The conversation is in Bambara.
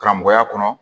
Karamɔgɔya kɔnɔ